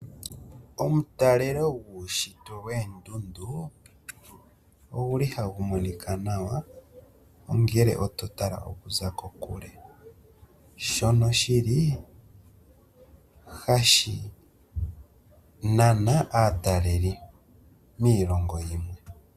Omutalelo guushitwe woondundu oguli hawu monika nawa ongele ototalele okuza kokule, shono shili hashi nana aataleli miilongo yimwe.